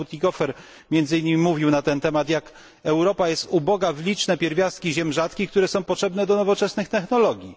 pan poseł Bütikofer o tym, jak Europa jest uboga w liczne pierwiastki ziem rzadkich, które są potrzebne do nowoczesnych technologii.